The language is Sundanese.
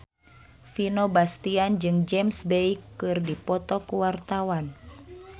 Vino Bastian jeung James Bay keur dipoto ku wartawan